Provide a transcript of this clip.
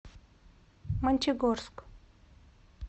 мончегорск